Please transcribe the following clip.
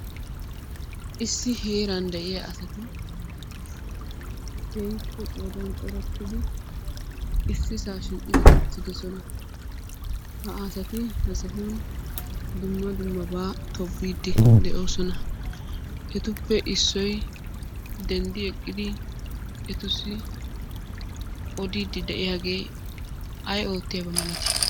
Issi heeran de'iya asati keehippe qoodaan corattidi ississaa shiiqidi uttiddossona. Ha asati ha sohuwan dumma dummabaa tobbiidi de'oosona. Etuppe issoy denddi eqqidi etussi oddiiddi de'iyaagee ay ootiyaba malati?